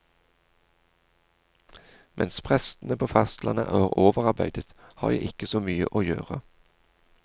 Mens prestene på fastlandet er overarbeidet, har jeg ikke så mye å gjøre.